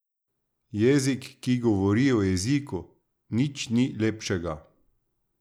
Jezik, ki govori o jeziku, nič ni lepšega.